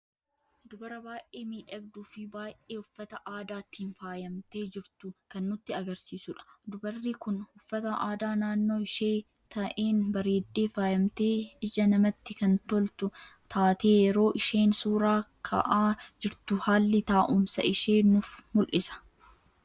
Dubara baay'ee miidhagduu fi baay'ee uffata aadaatiin faayamte jirtu kan nutti argisiisuudha. dubarri kun uffata aadaa naannoo ishee ta'een bareedde faayamte ,ija namatti kan toltu taatee yeroo isheen suuraa ka'aa jirtu haalli taa'uumsa ishee nuf muldhisa.